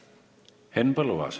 Henn Põlluaas.